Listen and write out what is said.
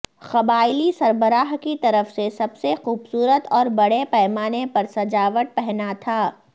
قبائلی سربراہ کی طرف سے سب سے خوبصورت اور بڑے پیمانے پر سجاوٹ پہنا تھا